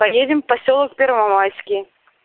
поедем в посёлок первомайский